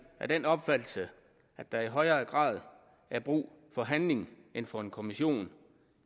af den opfattelse at der i højere grad er brug for handling end for en kommission